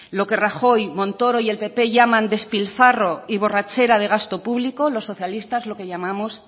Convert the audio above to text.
lo que rajoy montoro y el pp llaman despilfarro y borrachera de gasto público los socialistas lo que llamamos